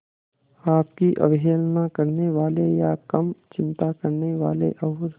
आपकी अवहेलना करने वाले या कम चिंता करने वाले और